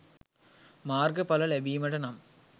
මාර්ග ඵල ලැබීමට නම්